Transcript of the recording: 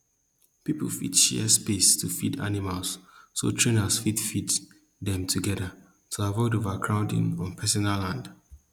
people fit share space to feed animals so trainers fit feed them together to avoid overcrowding on personal land